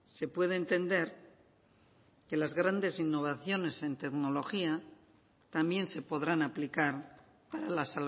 se puede entender que las grandes innovaciones en tecnología también se podrán aplicar para la